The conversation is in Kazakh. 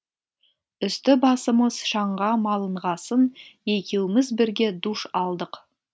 үсті басымыз шаңға малынғасын екеуміз бірге душ алдық